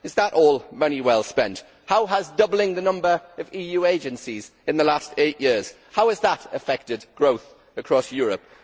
Is that all money well spent? How has doubling the number of EU agencies in the last eight years affected growth across Europe?